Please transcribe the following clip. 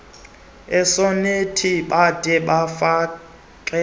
isonethi bade bafake